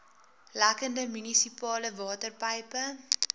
lekkende munisipale waterpype